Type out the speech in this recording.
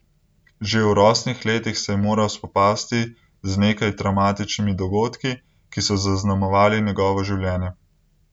Že v rosnih letih se je moral spopasti z nekaj travmatičnimi dogodki, ki so zaznamovali njegovo življenje.